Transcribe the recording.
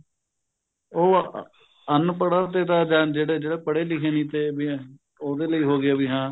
ਉਹ ਅਨਪੜ੍ਹਾ ਤੇ ਤਾਂ ਜਿਹੜੇ ਪੜ੍ਹੇ ਲਿਖੇ ਨਹੀਂ ਤੇ ਉਹਦੇ ਲਈ ਹੋਗਿਆ ਵੀ ਹਾਂ